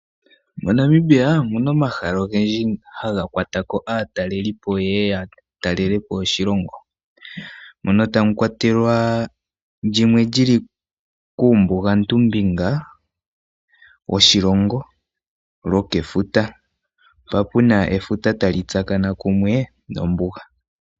MoNamibia omu na omahala ogendji haga kwata ko aatalelipo ye ye ya tale po oshilongo. Mono tamu kwatelwa ndyono li li kUumbugantumbinga woshilongo lwokefuta. Mpa pu na efuta tali tsakana kumwe nombuga.